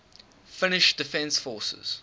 finnish defence forces